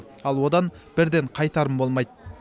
ал одан бірден қайтарым болмайды